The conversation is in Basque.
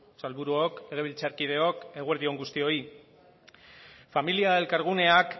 sailburuok legebiltzarkideok eguerdion on guztioi familia elkarguneak